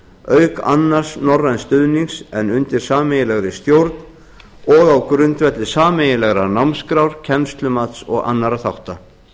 auk annars norræns stuðnings en undir sameiginlegri stjórn á á grundvelli sameiginlegrar námskrár kennslumats og annarra þátta